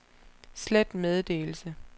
slet meddelelse